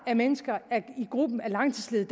af mennesker i gruppen af langtidsledige